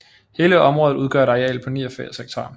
Hele området udgør et areal på 89 ha